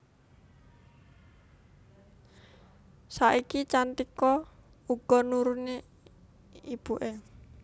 Saiki Cantika uga nuruni ibuké